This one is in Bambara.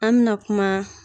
An bɛ na kuma.